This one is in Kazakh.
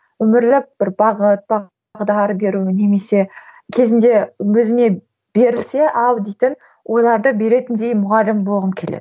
өмірлік бір бағыт бағдар беру немесе кезінде өзіме берілсе ал дейтін ойларды беретіндей мұғалім болғым келеді